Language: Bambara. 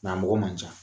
Gamɔgɔ man ca